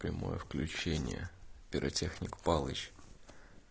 прямое включение пиротехник павлович